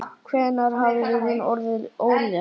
Hvenær hafði hún orðið ólétt?